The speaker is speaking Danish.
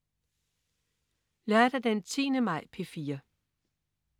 Lørdag den 10. maj - P4: